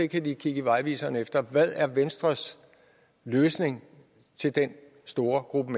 kan de kigge i vejviseren efter hvad er venstres løsning til den store gruppe